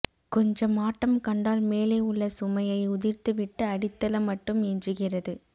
கொஞ்சம் ஆட்டம் கண்டால் மேலே உள்ள சுமையை உதிர்த்துவிட்டு அடித்தளம் மட்டும் எஞ்சுகிறது